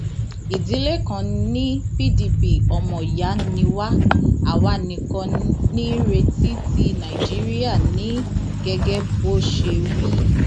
ìdílé kan ní pdp ọmọọyà ni wá àwa nìkan ní ìrètí tí nàìjíríà ní gẹgẹ bó ṣe wí